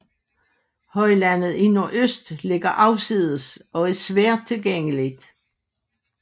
Højlandet i nordøst ligger afsides og er svært tilgængeligt